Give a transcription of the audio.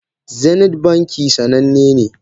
Zeneth banki sananne ne.